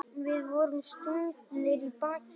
Við vorum stungnir í bakið.